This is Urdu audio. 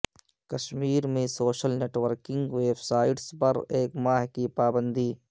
کشمیر میں social networking websites پر ایک ماہ کی پابندی